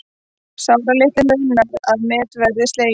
Sáralitlu munar að met verði slegið